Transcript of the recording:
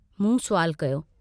मूं सुवाल कयो।